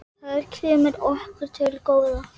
Það kemur okkur til góða.